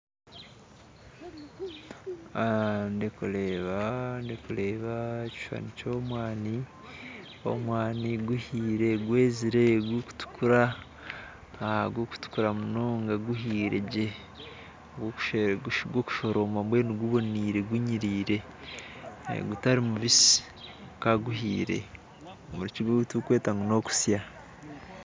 Ndikureeba ndikureeba ekishushani ky'omwani, omwani guhiire, gwezire, gurikutukura, gurikutukura munonga guhiire gye gw'okushoroma mbwenu gubonire gunyirire, gutari mubisi kwonka guhiire. omu rukiga ekiturikweta ngu n'okusya.